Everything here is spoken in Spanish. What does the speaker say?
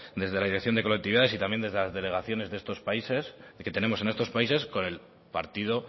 desde la dirección de colectividades y también desde las delegaciones que tenemos en estos países con el partido